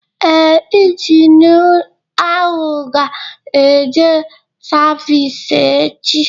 Ee, ịnginu ahụ ga eje savisi echi